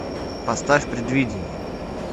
поставь предвидение